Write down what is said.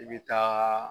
I bɛ taa